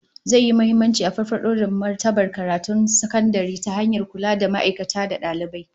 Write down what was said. Zai yi muhimmanci a farfado da martabar karatun sakandare ta hanyar kula da ma'aikata da dalibai